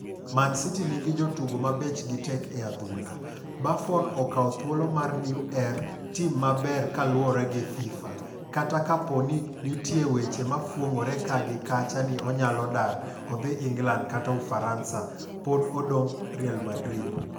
Man City nigi 'jotugo ma bechgi tek' e adhul. Buffon okawo thuolo mar Neuer tim maber kaluore gi Fifa. Kata kapo ni ntie weche mafuong'ore kaa gi kacha ni onyalo dar odhi England kata Ufaransa, pod odong' Real Madrid.